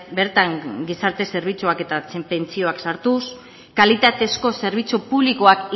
bertan gizarte zerbitzuak eta pentsioak sartuz kalitatezko zerbitzu publikoak